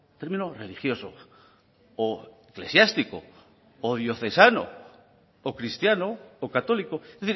término religioso o eclesiástico o diocesano o cristiano o católico es